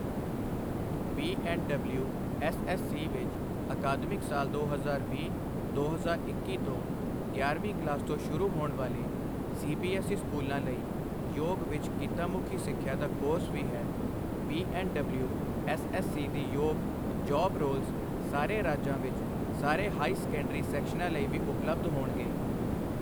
B&WSSC ਵਿੱਚ ਅਕਾਦਮਿਕ ਸਾਲ ਦੋ ਹਜ਼ਾਰ ਵੀਹ ਦੋ ਹਜ਼ਾਰ ਇੱਕੀ ਤੋਂ ਗਿਆਰਵੀਂ ਕਲਾਸ ਤੋਂ ਸ਼ੁਰੂ ਹੋਣ ਵਾਲੇ ਸੀਬੀਐੱਸਈ ਸਕੂਲਾਂ ਲਈ ਯੋਗ ਵਿੱਚ ਕਿੱਤਾਮੁਖੀ ਸਿੱਖਿਆ ਦਾ ਕੋਰਸ ਵੀ ਹੈ, ਬੀਐੱਡਡਬਲਿਊਐੱਸਐੱਸਸੀ ਦੀ ਯੋਗ ਜੌਬ ਰੋਲਸ ਸਾਰੇ ਰਾਜਾਂ ਵਿੱਚ ਸਾਰੇ ਹਾਈ ਸੈਕੰਡਰੀ ਸੈਕਸ਼ਨਾਂ ਲਈ ਵੀ ਉਪਲੱਬਧ ਹੋਣਗੇ।